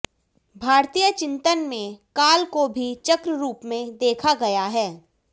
भारतीय चिन्तन में काल को भी चक्र रूप में देखा गया है